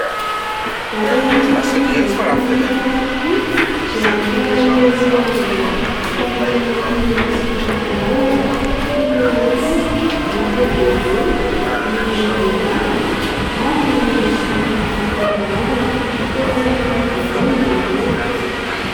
Ato amin'itỳ trano fivarotana sakafo itỳ dia ahitana ireo karazana sakafo matsiro isan-karazany toy ny lasopy, ny "composé", ny ovy nendasina ary ny mofomofo maro isan-karazany. Tena matsiro daholo izy ireo.